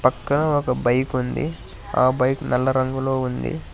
పక్కన ఒక బైక్ ఉంది ఆ బైక్ నల్ల రంగులో ఉంది.